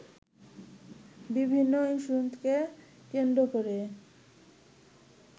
বিভিন্ন ইস্যুকে কেন্দ্র করে